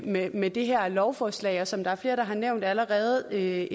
med med det her lovforslag og som der er flere der har nævnt allerede